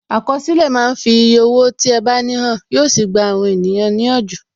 Àkọsílẹ̀ máa ń fi eye owó tí ẹ bá ní hàn, yo sì gba ènìyàn ní ìyànjú.